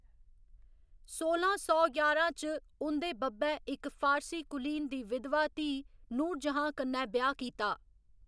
सोलां सौ ञारां च, उं'दे बब्बै इक फारसी कुलीन दी बिधवा धीऽ नूरजहां कन्नै ब्याह्‌‌ कीता।